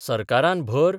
सरकारान भर